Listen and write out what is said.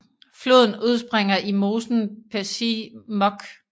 Floden udspringer i mosen Pesij mokh